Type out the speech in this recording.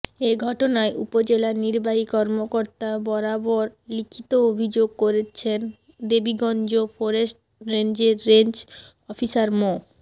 এ ঘটনায় উপজেলা নির্বাহী কর্মকর্তা বরাবর লিখিত অভিযোগ করছেন দেবীগঞ্জ ফরেস্ট রেঞ্জের রেঞ্জ অফিসার মো